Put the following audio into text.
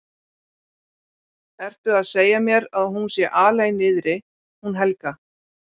Ertu að segja mér að hún sé alein niðri hún Helga?